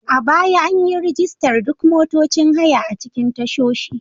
A baya, an yi rajistar duk motocin haya a cikin tashoshi.